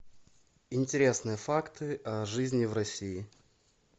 интересные факты о жизни в россии